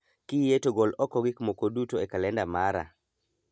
Kiyie to gol oko gik moko guto e kalenda mara